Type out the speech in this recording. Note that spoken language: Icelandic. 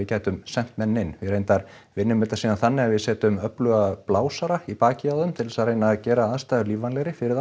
gætum sent menn inn við reyndar vinnum þetta síðan þannig að við setjum öfluga blásara í bakið á þeim til þess að reyna að gera aðstæður lífvænlegri fyrir